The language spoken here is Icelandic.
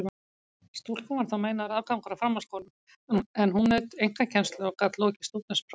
Stúlkum var þá meinaður aðgangur að framhaldsskólum, en hún naut einkakennslu og gat lokið stúdentsprófi.